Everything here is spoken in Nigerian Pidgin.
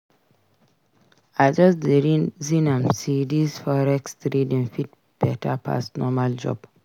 I just dey reason am sey dis forex trading fit beta pass normal job.